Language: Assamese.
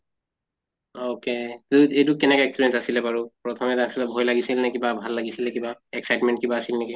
okay এইটো কেনেকা experience আছিলে বাৰু প্ৰথমে ভয় লাগিছিল নে কিবা ভাল লাগিছিলে কিবা excitement কিবা আছিলে নেকি?